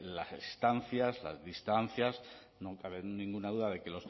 las estancias las distancias no cabe ninguna duda de que